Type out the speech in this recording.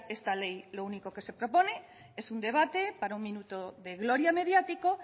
esta ley lo único que se propone es un debate para un minuto de gloria mediático